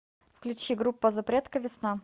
включи группа запретка весна